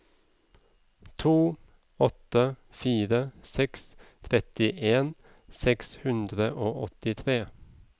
to åtte fire seks trettien seks hundre og åttitre